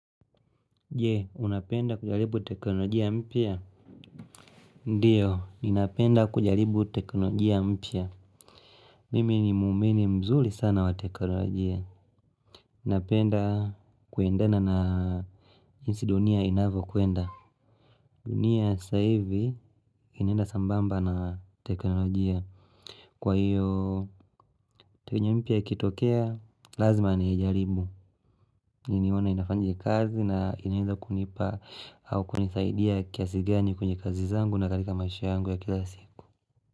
Je, unapenda kujaribu teknolojia mpya? Ndiyo, ninapenda kujaribu teknolojia mpya. Mimi ni mwamini mzuri sana wa teknolojia. Ninapenda kuendana na jinsi dunia inavyokwenda. Dunia saa hivi, inenda sambamba na teknolojia. Kwa hivyo, teknolojia mpya ikitokea, lazima niijaribu. Mimi nione inafanya kazi na inaweza kunipa au kunisaidia kiasi gani kwenye kazi zangu na miasha yangu ya kila siku.